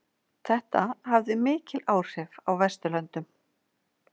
Þetta hafði mikil áhrif á Vesturlöndum.